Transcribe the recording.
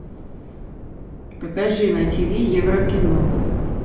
покажи на ти ви еврокино